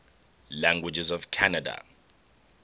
languages of canada